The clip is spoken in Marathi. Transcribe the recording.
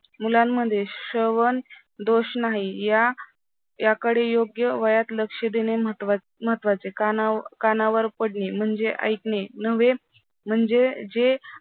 मुलांमध्ये श्रवणदोष नाही या याकडे योग्य वयात लक्ष देणे महत्त्वाचे. कानावर कानावर पडणे म्हणजे ऐकणे नव्हे म्हणजे जे